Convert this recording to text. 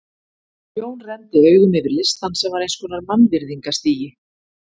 Jón renndi augum yfir listann sem var eins konar mannvirðingastigi.